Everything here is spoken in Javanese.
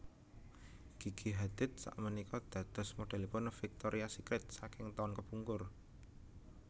Gigi Hadid sakmenika dados modelipun Victorias Secret saking taun kepungkur